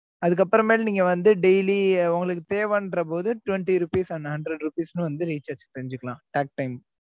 அதுக்கு அப்புறமேலு நீங்க வந்து daily உங்களுக்கு தேவன்றபோது twenty rupees and hundred rupees ன்னு வந்து recharge செஞ்சுக்கலாம் talktime